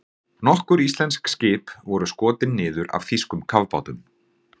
Nokkur íslensk skip voru skotin niður af þýskum kafbátum.